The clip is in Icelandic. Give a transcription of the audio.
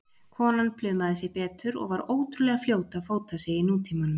Konan plumaði sig betur og var ótrúlega fljót að fóta sig í nútímanum.